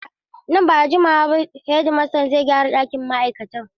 Nan ba da jimawa ba hedimastan zai gyara ɗakin ma’aikatan.